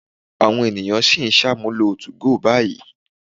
Àwọn ènìyàn sì ń ṣàmúlò 2go báyìí.